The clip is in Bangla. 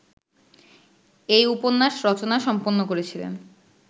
এই উপন্যাস রচনা সম্পন্ন করেছিলেন